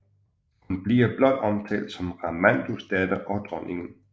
Hun bliver blot omtalt som Ramandus datter og dronningen